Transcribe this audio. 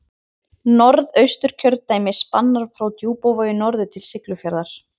Norðausturkjördæmi spannar frá Djúpavogi norður til Siglufjarðar.